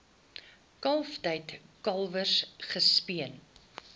kalftyd kalwers gespeen